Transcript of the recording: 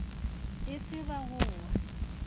e se ba go wa